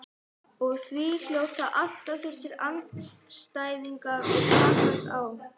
Og því hljóta alltaf þessir andstæðingar að takast á.